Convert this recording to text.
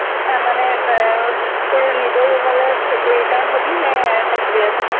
তাৰমানে তোৰ নিজৰ room লে return হ'বি নে থাকিবি আজি